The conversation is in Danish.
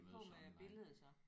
Er er de på med billede så?